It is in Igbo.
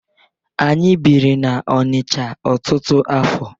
Anyị biri n'Ọnicha ọtụtụ afọ.